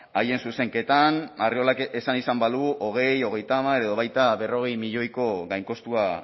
haien zuzenketan arriolak esan izan balu hogei hogeita hamar edo baita berrogei milioiko gainkostua